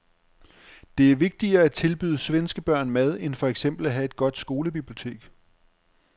Det er vigtigere at tilbyde svenske børn mad end for eksempel at have et godt skolebibliotek.